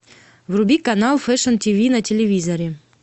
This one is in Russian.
вруби канал фэшн тв на телевизоре